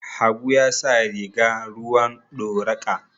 Habu ya sa riga ruwan doraqa